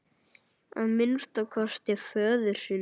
Að minnsta kosti föður sínum.